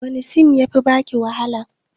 Wani sin ya fi baki wahala?